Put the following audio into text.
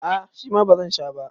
a ' shima ba zan Sha ba